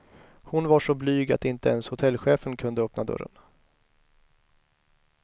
Hon var så blyg att inte ens hotellchefen kunde öppna dörren.